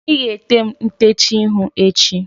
ị ga-ete m ntecha ihu echi?